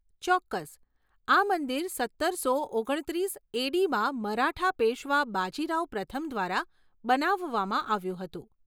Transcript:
ચોક્કસ, આ મંદિર સત્તરસો ઓગણત્રીસ એ.ડી.માં મરાઠા પેશ્વા બાજી રાવ પ્રથમ દ્વારા બનાવવામાં આવ્યું હતું.